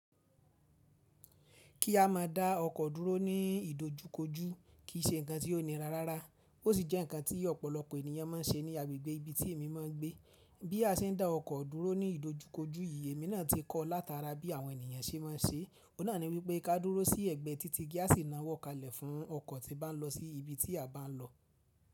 Kí a má a dá ọkọ̀ dúró ní ìdojúkojú kì í ṣe nǹkan tí ó nira rárá, ó sì jẹ́ nǹkan tí ọ̀pọ̀lọpọ̀ ènìyàn má ń se ní agbègbè ibi tí èmi má a ń gbé. Bí a se ń dá ọkọ̀ dúró ní ìdojúkojú yìí, èmi náà ti kọ́ látara bí àwọn ènìyàn ṣe má a ń ṣe é. Óun náà ni wípé ká dúró sí ẹ̀gbẹ́ títí kí a sì ná wọ́kalẹ̀ fún ọkọ̀ tí bá ń lọ sí ibi tí a bá ń lọ.